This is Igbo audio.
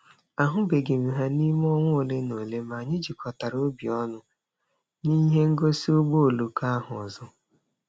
A hụbeghị m ha n'ime ọnwa ole na ole ma anyị jikọtara obi ọnụ n'ihe ngosi ụgbọ oloko ahụ ọzọ.